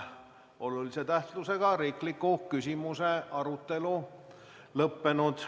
Olulise tähtsusega riikliku küsimuse arutelu on lõppenud.